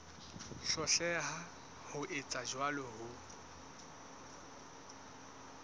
hloleha ho etsa jwalo ho